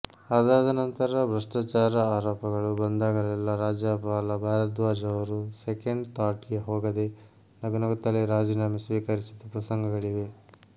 ಆದಾದನಂತರ ಭ್ರಷ್ಟಾಚಾರ ಆರೋಪಗಳು ಬಂದಾಗಲೆಲ್ಲಾ ರಾಜ್ಯಪಾಲ ಭಾರದ್ವಾಜ್ ಅವರು ಸೆಕೆಂಡ್ ಥಾಟ್ ಗೆ ಹೋಗದೆ ನಗುನಗುತ್ತಲೇ ರಾಜೀನಾಮೆ ಸ್ವೀಕರಿಸಿದ ಪ್ರಸಂಗಗಳಿವೆ